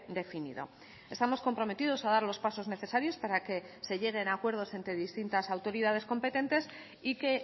definido estamos comprometidos a dar los pasos necesarios para que se lleguen a acuerdos entre distintas autoridades competentes y que